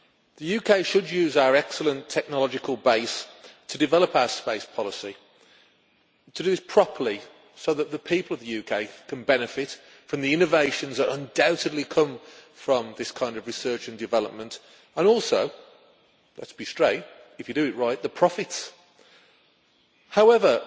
The UK should use our excellent technological base to develop our space policy and to do it properly, so that the people of the UK can benefit from the innovations that undoubtedly come from this kind of research and development and also let us be straight, if you do it right the profits. However,